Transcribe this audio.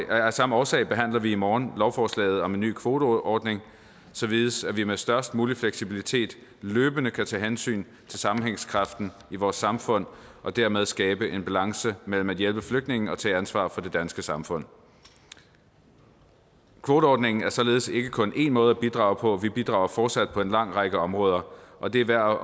af samme årsag behandler vi i morgen lovforslaget om en ny kvoteordning således at vi med størst mulig fleksibilitet løbende kan tage hensyn til sammenhængskraften i vores samfund og dermed skabe en balance mellem at hjælpe flygtninge og tage ansvar for det danske samfund kvoteordningen er således ikke kun én måde at bidrage på for vi bidrager fortsat på en lang række områder og det er værd at